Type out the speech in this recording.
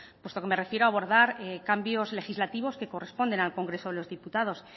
puesto que me refiero a abordar cambios legislativos que corresponden al congreso de los diputados